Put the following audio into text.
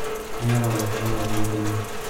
teyiara oloshoro otii ndimu